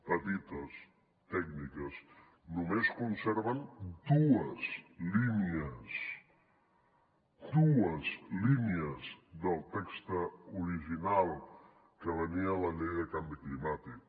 petites tècniques només conserven dues línies dues línies del text original que venia a la llei de canvi climàtic